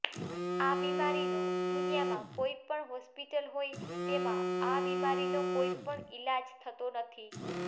આ બીમારીનો દુનિયામાં કોઈ પણ હોસ્પીટલ હોય તેમાં આ બીમારીનો કોઈ પણ ઈલાજ થતો નથી